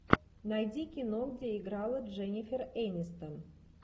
найди кино где играла дженнифер энистон